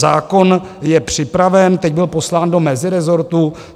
Zákon je připraven, teď byl poslán do mezirezortu.